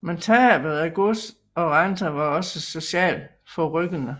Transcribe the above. Men tabet af gods og renter var også socialt forrykkende